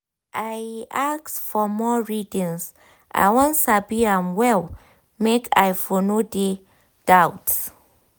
i ask for more readings i wan sabi am well make i for no de doubt